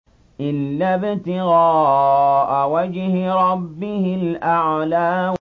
إِلَّا ابْتِغَاءَ وَجْهِ رَبِّهِ الْأَعْلَىٰ